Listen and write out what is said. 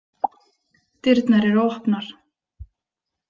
Dyrnar eru opnar.